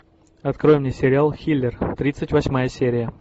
открой мне сериал хилер тридцать восьмая серия